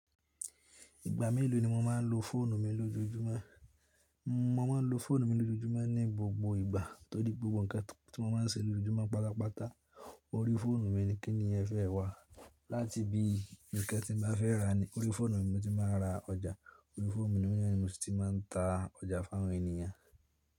Ìgbà mélòó ni mo máa ń lo fóònù mi lójúmọ́? Mo má a ń lo fóònù mi lójúmọ́ ní gbogbo ìgbà torí gbogbo ǹkan tí mo má a ń ṣe lójúmọ́ pátápátá orí fóònù mi ni kíni ẹ fẹ́ wá láti bí ǹkan tí mo bá fẹ́ rà ni orí fóònù mi mo ti máa ń ra ọjà, orí fóònù mi ni mo ti máa ń ta ọjà fún àwọn ènìyàn.